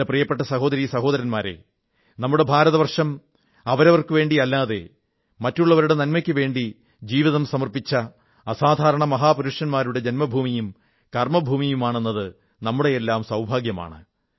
എന്റെ പ്രിയപ്പെട്ട സഹോദരീ സഹോദരന്മാരേ നമ്മുടെ ഭാരതവർഷം അവരവർക്കുവേണ്ടിയല്ലാതെ മറ്റുള്ളവരുടെ നന്മയ്ക്കുവേണ്ടി ജീവിതം മുഴുവൻ സമർപ്പിച്ച അസാധാരണ മഹാപുരുഷന്മാരുടെ ജന്മഭൂമിയും കർമ്മഭൂമിയുമാണ് എന്നത് നമ്മുടെയെല്ലാം സൌഭാഗ്യമാണ്